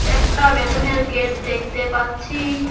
একটা বেলুনের গেট দেখতে পাচ্ছি।